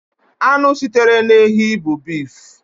Anụ sitere n'ehi bụ bif.